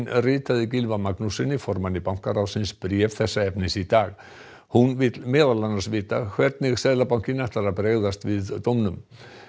ritaði Gylfa Magnússyni formanni bankaráðsins bréf þessa efnis í dag hún vill meðal annars vita hvernig Seðlabankinn ætlar að bregðast við dóminum